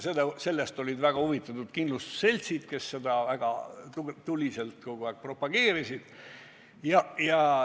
Sellest olid väga huvitatud kindlustusseltsid, nad seda väga tuliselt kogu aeg propageerisid.